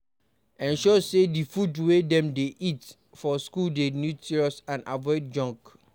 Ensure sey di food wey dem dey eat for school dey nutritious and avoid junk